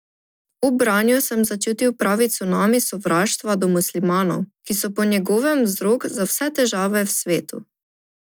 Ob branju sem začutil pravi cunami sovraštva do muslimanov, ki so po njegovem vzrok za vse težave v svetu.